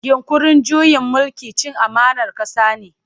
Yinƙurin juyin mulki cin amanar ƙasa ne.